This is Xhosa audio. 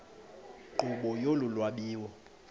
nkqubo yolu lwabiwo